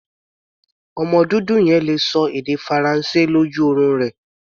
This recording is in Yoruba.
Ọmọ dúdú yẹn le ṣọ èdè Faransé lójú orun rẹ̀.